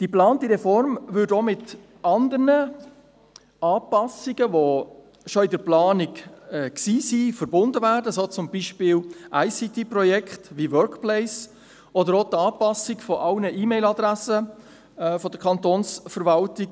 Die geplante Reform würde auch mit anderen Anpassungen, die schon in der Planung waren, verbunden, wie etwa zum Beispiel ICT-Projekten wie «Workplace», oder auch mit der Anpassung aller E-MailAdressen der Kantonsverwaltung.